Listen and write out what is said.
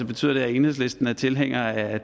betyder det at enhedslisten er tilhænger af